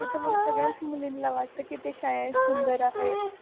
तसे तर मग सगळ्याच मुलींना वाटते कि ते सुंदर आहेत